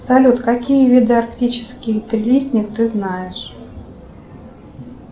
салют какие виды арктический трилистник ты знаешь